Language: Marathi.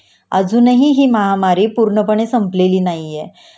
अजूनही हि महामारी पूर्णपणे संपलेली नाहीये